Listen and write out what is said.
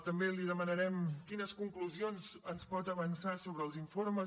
també li demanarem quines conclusions ens pot avançar sobre els informes